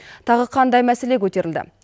тағы қандай мәселе көтерілді